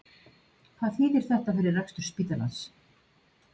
Hvað þýðir þetta fyrir rekstur spítalans?